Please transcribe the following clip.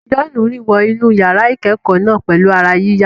John rìn wọ inú yàrá ìkẹ́kọ̀ọ́ náà pẹ̀lú ara yíyá.